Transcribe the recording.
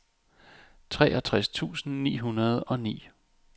treogtres tusind ni hundrede og ni